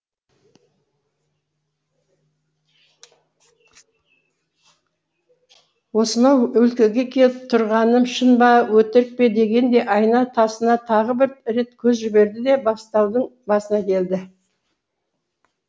осынау өлкеге келіп тұрғаным шын ба өтірік пе дегендей айна тасына тағы бір рет көз жіберді де бастаудың басына келді